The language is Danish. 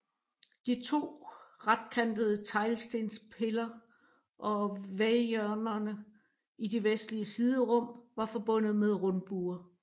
De to retkantede teglstenspiller og væghjørnerne i de vestlige siderum var forbundet med rundbuer